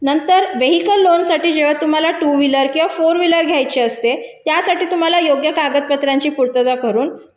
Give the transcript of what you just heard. नंतर vehicle loan साठी पण तुम्हाला टू व्हीलर किंवा फोर व्हीलर घ्यायची असते त्यासाठी तुम्हाला योग्य कागदपत्राची पूर्तता करून